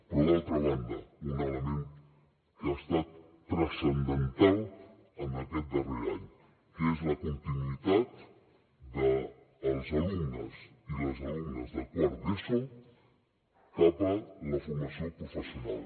però d’altra banda un element que ha estat transcendental en aquest darrer any que és la continuïtat dels alumnes i les alumnes de quart d’eso cap a la formació professional